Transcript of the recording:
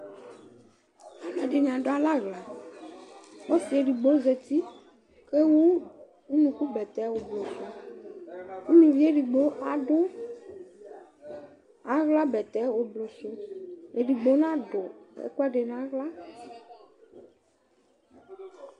aloɛdini ado alɛ ala ɔse edigbo zati ewu unuku bɛtɛ ublɔ sò uluvi edigbo ado ala bɛtɛ ublɔ sò edigbo n'ado ɛkoɛdi n'ala